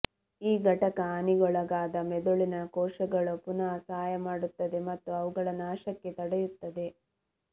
ಈ ಘಟಕ ಹಾನಿಗೊಳಗಾದ ಮೆದುಳಿನ ಕೋಶಗಳು ಪುನಃ ಸಹಾಯ ಮಾಡುತ್ತದೆ ಮತ್ತು ಅವುಗಳ ನಾಶಕ್ಕೆ ತಡೆಯುತ್ತದೆ